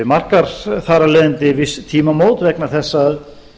markar þar af leiðandi viss tímamót vegna þess að